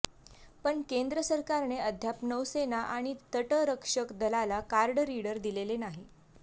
पण केंद्र सरकारने अद्याप नौसेना आणि तटरक्षक दलाला कार्ड रीडर दिलेले नाही